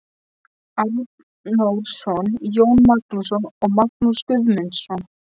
Arnórsson, Jón Magnússon og Magnús Guðmundsson.